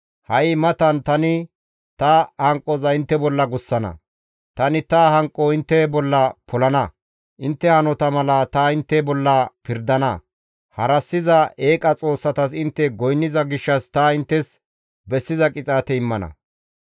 Ha7i matan tani ta hanqoza intte bolla gussana; tani ta hanqo intte bolla polana; intte hanota mala ta intte bolla pirdana; harassiza eeqa xoossatas intte goynniza gishshas ta inttes bessiza qixaate immana.